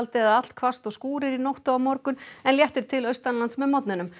eða allhvasst og skúrir í nótt og á morgun en léttir til austanlands með morgninum